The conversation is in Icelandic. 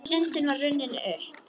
Stundin var runnin upp.